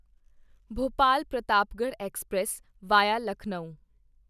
Bhopal Pratapgarh express VIA Lucknow